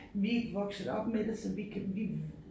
Vi ikke vokset op med det så vi kan vi